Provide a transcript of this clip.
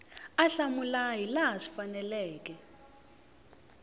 a hlamula hilaha swi faneleke